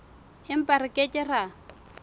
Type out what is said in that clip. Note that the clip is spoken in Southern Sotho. empa re ke ke ra